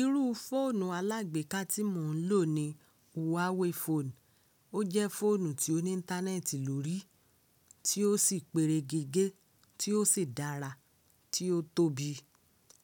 Irú fóònù alágbéka tí mò ń lò ni Huawei phone. O jẹ́ fóònù tí ó ní íńtánẹ́ẹ̀tì lórí, tí ó sì pere gégé, tí ó sì dára, tí ó tóbi.